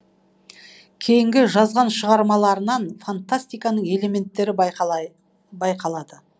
кейінгі жазған шығармаларынан фантастиканың элементтері байқалады